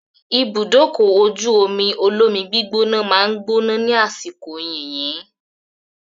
Ibùdókọ̀-ojú-omi olómi gbígbóná máa gbóná ní àsìkò yìnyín.